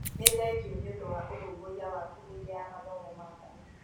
Nĩ thengiũnĩ ũndũwa ũrũmbũiya waku hĩndĩ ya mathomo maku.